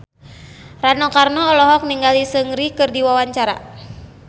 Rano Karno olohok ningali Seungri keur diwawancara